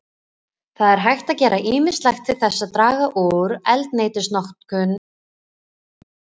Það er hægt að gera ýmislegt til þess að draga úr eldsneytisnotkun bifreiða.